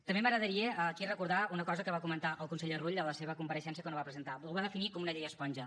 també m’agradaria aquí recordar una cosa que va comentar el conseller rull a la seva compareixença quan ho va presentar ho va definir com una llei esponja